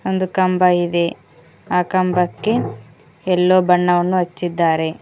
ಒಂದು ಕಂಬ ಇದೆ ಆ ಕಂಬಕ್ಕೆ ಎಲ್ಲೋ ಬಣ್ಣವನ್ನು ಹಚ್ಚಿದ್ದಾರೆ.